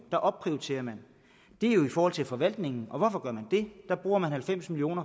der opprioriterer man det er jo i forhold til forvaltningen hvorfor gør man det der bruger man halvfems million